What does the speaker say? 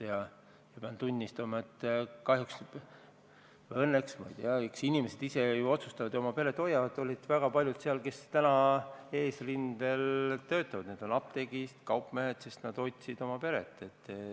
Ma pean tunnistama, et kahjuks või õnneks – ma ei tea, eks inimesed ise otsustavad ja oma peret hoiavad – olid väga paljud seal need, kes täna töötavad eesrindel, näiteks apteekrid ja kaupmehed, sest nad hoiavad oma peret.